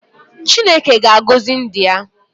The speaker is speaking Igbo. Chineke ga-agọzi ndị ya